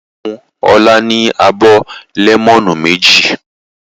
Ìyá rẹ̀ fún Ọlá ní abọ́ lẹ́mọ́nù méjì.